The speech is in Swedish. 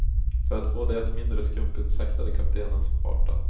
För att få det mindre skumpigt saktade kaptenen farten.